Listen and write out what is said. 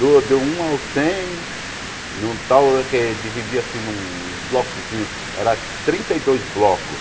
Do do um ao cem, num tal que dividia-se nuns blocozinho, eram trinta e dois blocos.